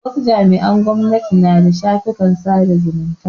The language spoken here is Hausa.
Wasu jami'an gwamnati na da shafukan sada zumunta.